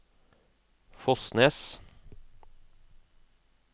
Fosnes